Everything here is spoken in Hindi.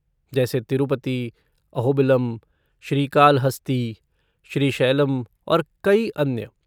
जैसे, तिरूपति, अहोबिलम, श्रीकालहस्ती, श्रीशैलम और कई अन्य।